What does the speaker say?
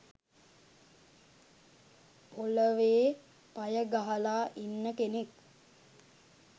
පොළවේ පය ගහලා ඉන්න කෙනෙක්